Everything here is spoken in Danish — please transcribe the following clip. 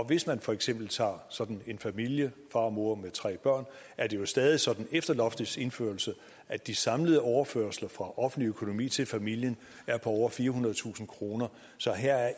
hvis man for eksempel tager sådan en familie far og mor med tre børn er det jo stadig sådan efter loftets indførelse at de samlede overførsler fra offentlig økonomi til familien er på over firehundredetusind kroner så her er